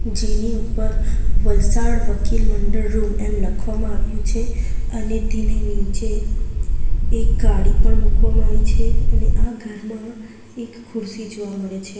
જેની ઉપર વલસાડ વકીલ મંડળ રૂમ એમ લખવામાં આવ્યું છે અને તેની નીચે એક ગાડી પણ મૂકવામાં આવી છે અને આ ઘરમાં એક ખુરશી જોવા મળે છે.